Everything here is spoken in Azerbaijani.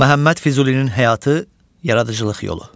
Məhəmməd Füzulinin həyatı, yaradıcılıq yolu.